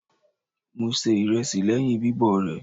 Mo se ìrẹsì lẹ́yìn bíbọ̀ rẹ̀.